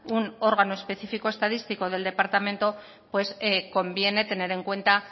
un órgano específico estadístico del departamento pues conviene tener en cuenta